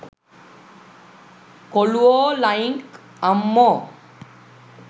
කොලුවෝ line ක් අම්මෝ